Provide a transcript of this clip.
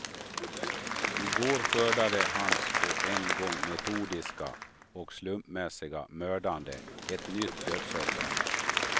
I går skördade hans på en gång metodiska och slumpmässiga mördande ett nytt dödsoffer.